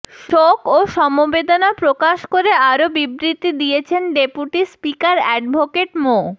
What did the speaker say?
শোক ও সমবেদনা প্রকাশ করে আরো বিবৃতি দিয়েছেন ডেপুটি স্পিকার অ্যাডভোকেট মো